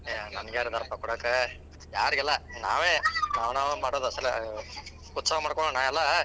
ಏ ನನಗ್ಯಾರದಾರಪ್ಪಾ ಕೊಡಾಕ. ಯಾರಿಗಿಲ್ಲಾ ನಾವೇ ನಾವ್ ನಾವೇ ಮಾಡೋದ್ ಉತ್ಸವ ಮಾಡ್ಕೋಳೋಣ ಎಲ್ಲಾ.